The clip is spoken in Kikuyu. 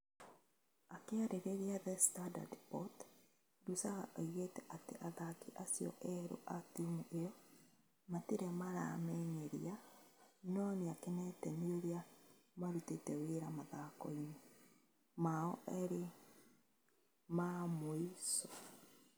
Akĩarĩrĩria The Standard Sport, Lusaga oigire atĩ athaki acio erũ a timu ĩo matirĩ maramenyeria no nĩ akenete nĩ ũrĩa marutĩte wĩra mathako-inĩ mao erĩ ma mũico.